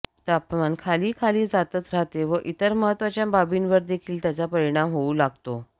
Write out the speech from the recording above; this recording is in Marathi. तपमान खाली खाली जातच राहते व इतर महत्त्वाच्या बाबींवर देखील त्याचा परिणाम होऊ लागतो